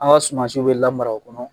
Aw ka sumansiw bɛ la mara o kɔnɔ.